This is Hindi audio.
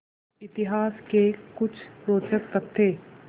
इतिहास के कुछ रोचक तथ्य